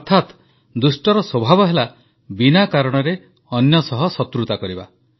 ଅର୍ଥାତ୍ ଦୁଷ୍ଟର ସ୍ୱଭାବ ହେଲା ବିନା କାରଣରେ ଅନ୍ୟ ସହ ଶତ୍ରୁତା କରିବା